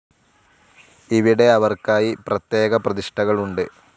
ഇവിടെ അവർക്കായി പ്രത്യേക പ്രതിഷ്ഠകൾ ഉണ്ട്.